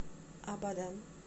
абадан